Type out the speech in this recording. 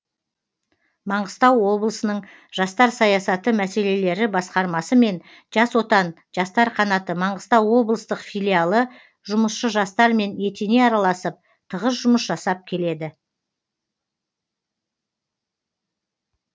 маңғыстау облысының жастар саясаты мәселелері басқармасы мен жас отан жастар қанаты маңғыстау облыстық филиалы жұмысшы жастармен етене араласып тығыз жұмыс жасап келеді